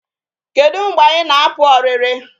Kedu mgbe anyị na-apụ ọrịrị?